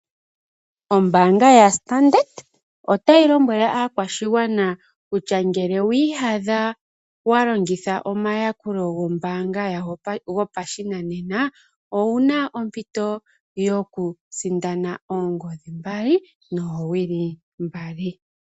Ombanga yaStandard otayi lombwele aakwashigwana kutya ngele wiiyadha wa longitha omayakulo gombanga yawo gopashinanena owu na ompito yokusindana oongodhi mbali noowili mbali.